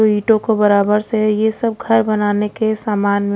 और ईंटों को बराबर से है ये सब घर बनाने के सामान में--